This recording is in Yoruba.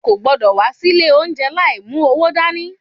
O kò gbúdọ̀ wá sí ilé oúnjẹ láì mú owó dání.